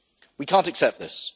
We can't accept this.